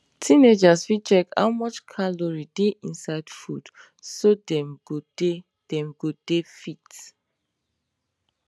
teenagers fit check how much calorie dey inside food so dem go dey dem go dey fit